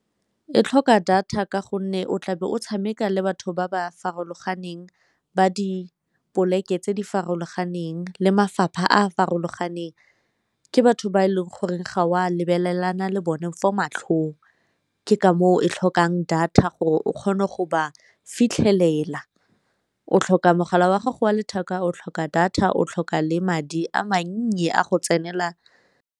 E tlhoka data ka gonne o tlabe o tshameka le batho ba ba farologaneng, ba dipoleke tse di farologaneng, le mafapha a a farologaneng. Ke batho ba e leng gore ga o a lebelelana le bone fo matlhong, ke ka moo e tlhokang data gore o kgone go ba fitlhelela o tlhoka mogala wa gago wa letheka, o tlhoka data, o tlhoka le madi a mannye a go tsenela.